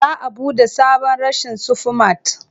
Za a buɗe sabon reshen Sufi mat.